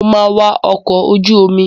Mo máa wa ọkọ̀ ojú omi.